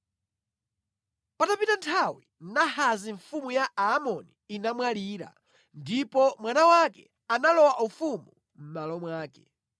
Patapita nthawi Nahasi mfumu ya Aamoni inamwalira, ndipo mwana wake analowa ufumu mʼmalo mwake.